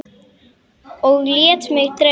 Og lét mig dreyma.